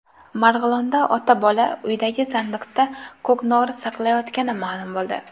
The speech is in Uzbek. Marg‘ilonda ota-bola uydagi sandiqda ko‘knori saqlayotgani ma’lum bo‘ldi.